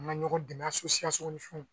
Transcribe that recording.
An ka ɲɔgɔn dɛmɛ ni fɛnw.